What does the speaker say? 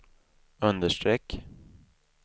understreck